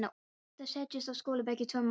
Hann átti að setjast á skólabekk í tvo mánuði.